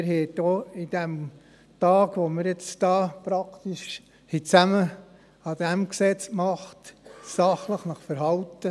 Und auch Sie haben sich während dieses Tags, an dem wir nun praktisch an diesem Gesetz gearbeitet haben, sachlich verhalten.